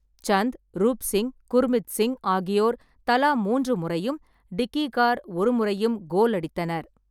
சந்த், ரூப் சிங், குர்மித் சிங் ஆகியோர் தலா மூன்று முறையும், டிக்கி கார் ஒரு முறையும் கோல் அடித்தனர்.